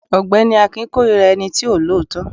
ọgbẹni akin korira ení tí o lọọtọ.